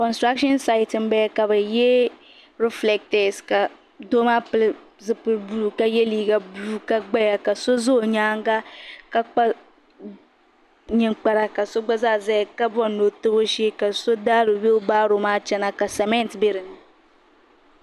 konsiraashin sayiti m bala ka bɛ ye rifileetɛsi ka doo maa pili zipili buluu ka ye liiga buluu ka gbaya ka so za o nyaaŋa ka kpa ninkpara ka gba zaa zaya ka bɔri ni o tabi o shee ka so daari wiibaaro maa chana ka sament bɛni.